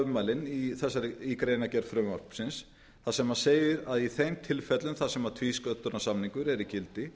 ummæli í greinargerð frumvarpsins þar sem segir að í þeim tilfellum þar sem tvísköttunarsamningar eru í gildi